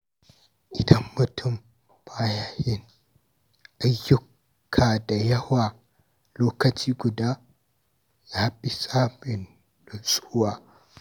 Idan mutum baya yin ayyuka da yawa lokaci guda, yafi samun nutsuwa.